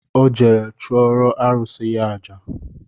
Ọ jere chụọrọ arụsị ya aja